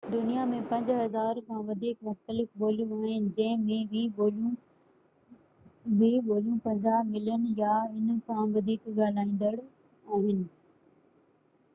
دنيا ۾ 5000 کان وڌيڪ مختلف ٻوليون آهن جنهن ۾ 20 ٻوليون 50 ملين يا ان کان وڌيڪ ڳالهائيندڙ آهن